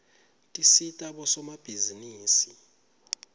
tisita bosomabhizinisi